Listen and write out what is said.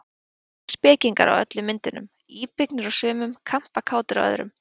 Tveir spekingar á öllum myndunum, íbyggnir á sumum, kampakátir á öðrum.